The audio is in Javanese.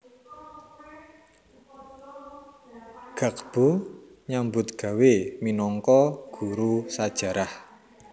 Ggagbo nyambutgawé minangka guru sajarah